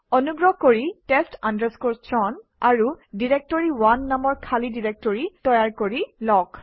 অনুগ্ৰহ কৰি test chown আৰু ডাইৰেক্টৰী1 নামৰ খালী ডিৰেক্টৰী তৈয়াৰ কৰি লওক